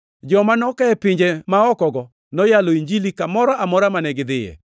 Joma noke e pinje maokogo noyalo Injili kamoro amora mane gidhiye.